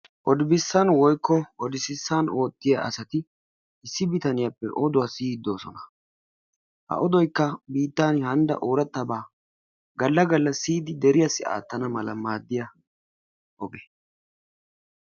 Odibessan woykko odisissan oottiyaa asati issi bitaniyappe oduwa siyiidi doosona. Ha odoykka biittan hanida oorataba galla galla siyidi deritassi aattanawu maadiyaa oge.